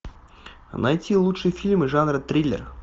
найти лучшие фильмы жанра триллер